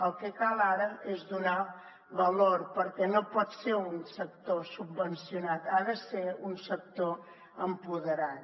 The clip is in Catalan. el que cal ara és donar valor perquè no pot ser un sector subvencionat ha de ser un sector empoderat